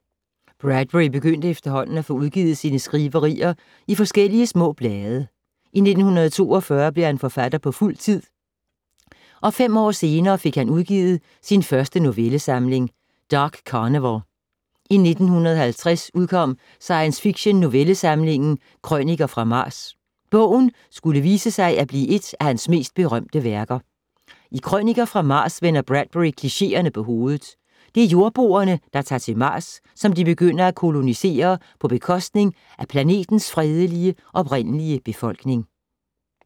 Bradbury begyndte efterhånden at få udgivet sine skriverier i forskellige små blade. I 1942 blev han forfatter på fuld tid, og fem år senere fik han udgivet sin første novellesamling, Dark Carnival. I 1950 udkom science fiktion novellesamlingen, Krøniker fra Mars. Bogen skulle vise sig at blive et af hans mest berømte værker. I Krøniker fra Mars vender Bradbury klichéerne på hovedet. Det er jordboerne, der tager til Mars, som de begynder at kolonisere på bekostning af planetens fredelige oprindelige befolkning.